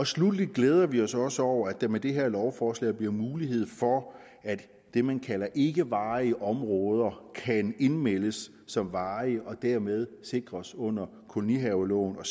sluttelig glæder vi os også over at der med det her lovforslag bliver mulighed for at det man kalder for ikkevarige områder kan indmeldes som varige og dermed sikres under kolonihaveloven og